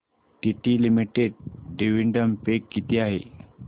TT limited dividend pay किती आहे